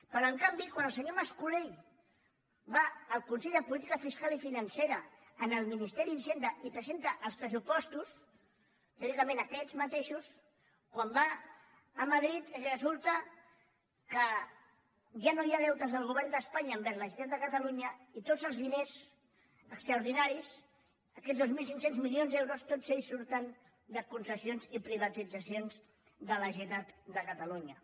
però en canvi quan el senyor mas colell va al consell de política fiscal i financera al ministeri d’hisenda i presenta els pressupostos teòricament aquests mateixos quan va a madrid resulta que ja no hi ha deutes del govern d’espanya envers la generalitat de catalunya i tots els diners extraordinaris aquests dos mil cinc cents milions d’euros tots ells surten de concessions i privatitzacions de la generalitat de catalunya